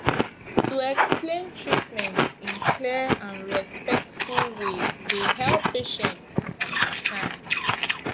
to explain treatment in clear and respectful way dey help patients understand